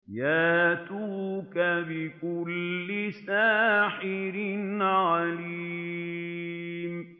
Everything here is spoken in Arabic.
يَأْتُوكَ بِكُلِّ سَاحِرٍ عَلِيمٍ